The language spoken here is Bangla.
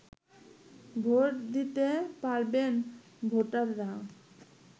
ভোট দিতে পারবেন ভোটাররা